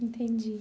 Entendi.